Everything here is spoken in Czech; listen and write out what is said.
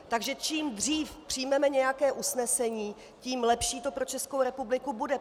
Takže čím dřív přijmeme nějaké usnesení, tím lepší to pro Českou republiku bude.